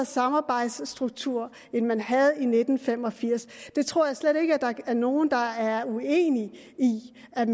samarbejdsstrukturer end man havde i nitten fem og firs det tror jeg slet ikke der er nogen der er uenig i at